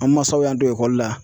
An masaw y'an don ekɔli la.